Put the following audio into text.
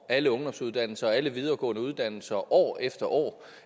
alle ungdomsuddannelser og alle videregående uddannelser år efter år